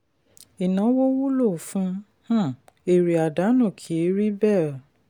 ìnáwó wúlò fún um èrè àdánù kì í rí bẹ́ẹ̀.